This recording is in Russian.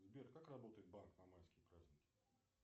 сбер как работает банк на майские праздники